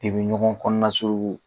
De bi ɲɔgɔn kɔnɔnasuruku.